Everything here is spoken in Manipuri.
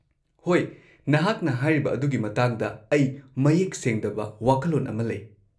-ꯍꯣꯏ, ꯅꯍꯥꯛꯅ ꯍꯥꯏꯔꯤꯕ ꯑꯗꯨꯒꯤ ꯃꯇꯥꯡꯗ ꯑꯩ ꯃꯌꯦꯛ ꯁꯦꯡꯗꯕ ꯋꯥꯈꯜꯂꯣꯟ ꯑꯃ ꯂꯩ ꯫